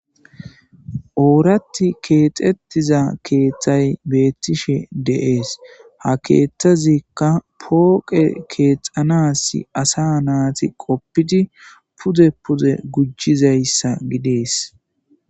Orathi kexetiza kethay betishe dees ha kethazika poqe kexanas asa nati qopidi pude pude gujizaysa gides.